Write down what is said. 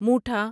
موٹھا